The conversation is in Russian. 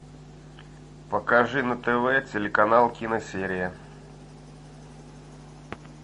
покажи на тв телеканал киносерия